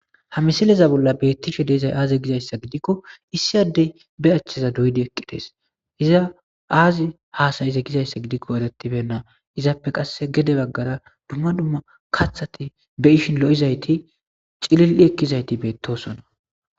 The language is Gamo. Ha misileza bolla beettishe deizay aaze gizayssa gidikko issi addey be achchaza duydi eqqides iza aazi haasayize gizayssa gidikko erettibenna izappe qasse gede baggara dumma dumma kathati be ishin lo'izayti cilil'i ekkizayti beettosona.